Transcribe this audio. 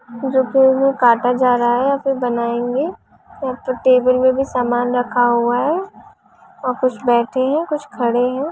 सब्जियों को काटा जा रहा है और फिर बनाएंगे और टेबल पर भी समान रखा हुआ है और कुछ बैठे हैं कुछ खड़े हैं।